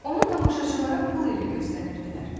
Onu tamaşaçılara pul ilə göstərirdilər.